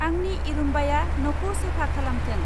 आंनि इरुम्बाया न'खौ साफा खालामथों।